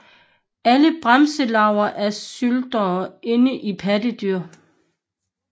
Alle bremselarver er snyltere inden i pattedyr